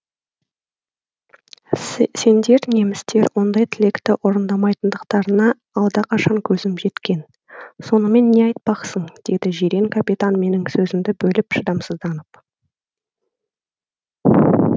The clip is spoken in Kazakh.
сендер немістер ондай тілекті орындамайтындықтарына алдақашан көзім жеткен сонымен не айтпақсың деді жирен капитан менің сөзімді бөліп шыдамсызданып